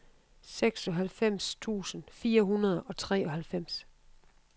seksoghalvfems tusind fire hundrede og treoghalvfems